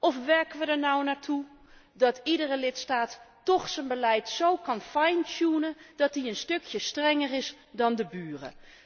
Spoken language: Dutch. Of werken we er nu naartoe dat iedere lidstaat toch zijn beleid zo kan dat hij een stukje strenger is dan de buren?